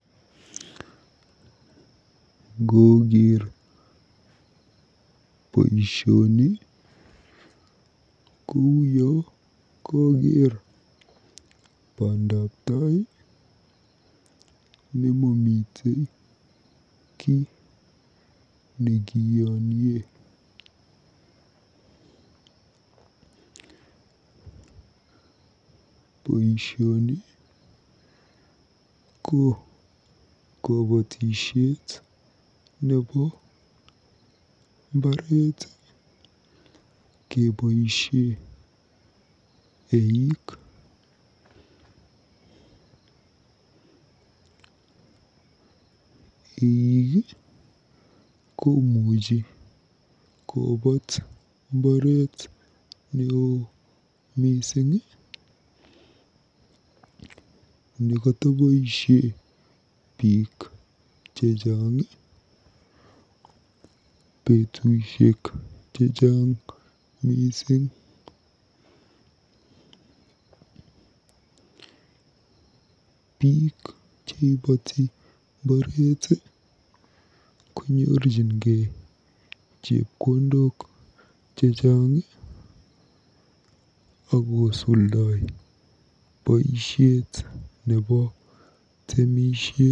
Ngooker boisioni ko uyo kokeer bandabtai nemomitei kiy nekiyoniee. Boisioni ko kobotisiet nebo mbaret keboisie eik. Eik komuchi kobaat mbaret neoo mising nekotoboisie biik chechang, betusiek chechang mising. Biik cheipoti mbaret konyoru chepkondok chechang akosuldoi boisiet nebo temisiet.